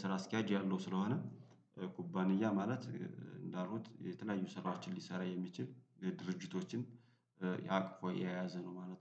ስራ አስኪያጅ ያለው ስለሆነ ኩባንያ ማለት እንዳልኩት የተለያዩ ሰራችን ሊሰራ የሚችል ድርጅቶችን አቅፎ የያዘ ነው። ማለት ነው